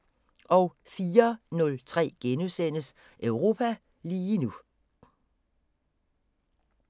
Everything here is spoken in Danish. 04:03: Europa lige nu *